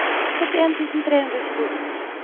syttien tusen tre hundre og tjueto